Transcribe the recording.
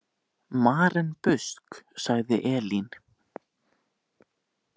Maren Busk, sagði Elín.